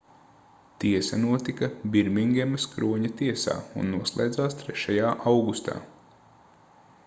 tiesa notika birmingemas kroņa tiesā un noslēdzās 3. augustā